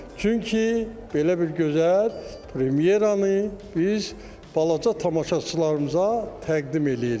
Çünki belə bir gözəl premyeranı biz balaca tamaşaçılarımıza təqdim eləyirik.